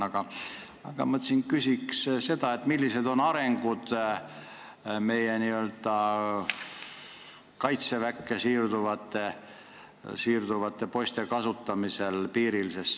Aga ma mõtlesin, et küsiks seda, millised on meie kaitseväkke siirduvate poiste piiril kasutamise arengud.